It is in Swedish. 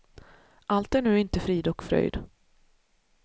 Allt är nu inte frid och fröjd.